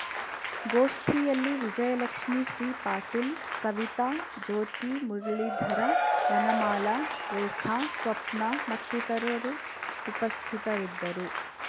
ಗೋಷ್ಠಿಯಲ್ಲಿ ವಿಜಯಲಕ್ಷ್ಮೀ ಸಿ ಪಾಟೀಲ್‌ ಕವಿತಾ ಜ್ಯೋತಿ ಮುರಳೀಧರ ವನಮಾಲಾ ರೇಖಾ ಸ್ವಪ್ನ ಮತ್ತಿತರರು ಉಪಸ್ಥಿತರಿದ್ದರು